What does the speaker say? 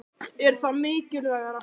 Er það mikilvægara?